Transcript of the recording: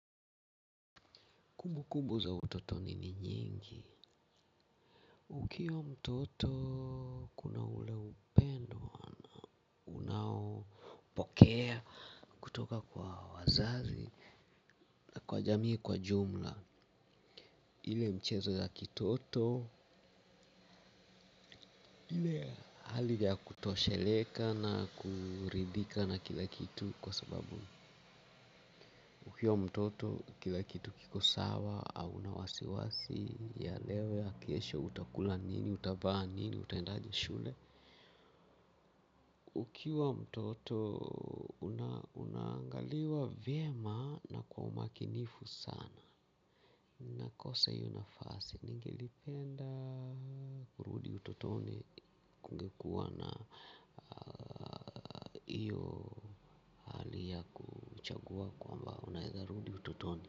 Kumbukumbu za utotoni ni nyingi. Ukiwa mtoto kuna ule upendoum unaopokea kutoka kwa wazazi na kwa jamii kwa jumla. Ile mchezo ya kitoto hali ya kutosheleka na kuridhika na kila kitu kwa sababu ukiwa mtoto kila kitu kiko sawa au na wasiwasi ya leo ya kesho utakula nini utavaa nini utaendaje shule ukiwa mtoto unaangaliwa vyema na kwa umakinifu sana. Nakosa hiyo nafasi, ningelipenda kurudi utotoni kungekuwa na iyo hali ya kuchagua kwamba unaeza rudi utotoni.